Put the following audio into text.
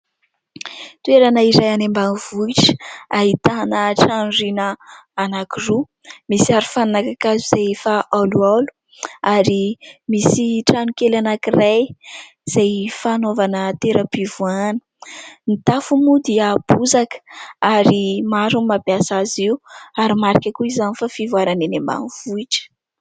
Toerana iray any ambanivohitra ahitana trano rihana anankiroa, misy arofanina kakazo izay efa haolohaolo ary misy trano kely anankiray izay fanaovana toeram-pivoahana. Ny tafo moa dia bozaka ary maro no mampiasa azy io ary marika koa izany fa fivoarana eny ambanivohitra.